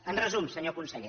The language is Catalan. en resum senyor conseller